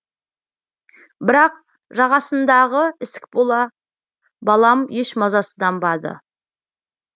бірақ жағасындағы ісік бола балам еш мазасызданбады